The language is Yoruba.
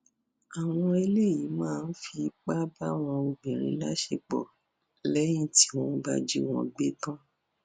àwọn eléyìí máa ń fipá bá àwọn obìnrin láṣepọ lẹyìn tí wọn bá jí wọn gbé tán